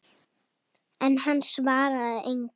En hann svaraði engu.